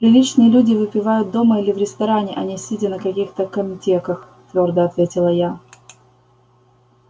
приличные люди выпивают дома или в ресторане а не сидя на каких-то камтеках твёрдо ответила я